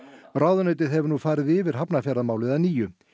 ráðuneytið hefur nú farið yfir Hafnarfjarðarmálið að nýju